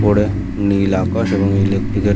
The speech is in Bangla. উপরে নীল আকাশ এবং ইলেক্ট্রিক এর--